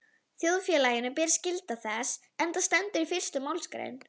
Þjóðfélaginu ber skylda til þess, enda stendur í fyrstu málsgrein